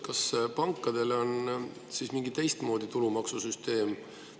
Kas pankadel on siis mingi teistmoodi tulumaksusüsteem?